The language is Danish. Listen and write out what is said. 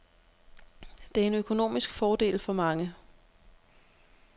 Det er en økonomisk fordel for mange.